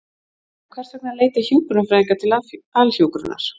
En hvers vegna leita hjúkrunarfræðingar til Alhjúkrunar?